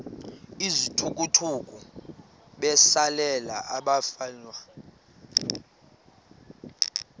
izithukuthuku besalela abafelwa